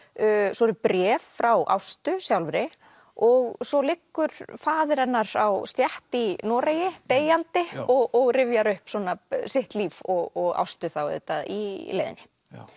svo eru bréf frá Ástu sjálfri og svo liggur faðir hennar á stétt í Noregi deyjandi og rifjar upp svona sitt líf og Ástu þá auðvitað í leiðinni